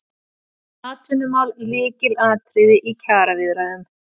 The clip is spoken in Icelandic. Atvinnumál lykilatriði í kjaraviðræðum